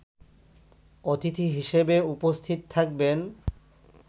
অতিথি হিসেবে উপস্থিত থাকবেন